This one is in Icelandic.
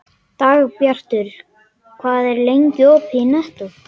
Dagbjartur, hvað er lengi opið í Nettó?